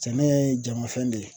Sɛnɛ ye jama fɛn de ye.